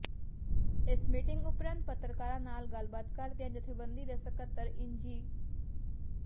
ਇਸ ਮੀਟਿੰਗ ਉਪਰੰਤ ਪੱਤਰਕਾਰਾਂ ਨਾਲ ਗੱਲਬਾਤ ਕਰਦਿਆਂ ਜੱਥੇਬੰਦੀ ਦੇ ਸਕੱਤਰ ਇੰਜੀ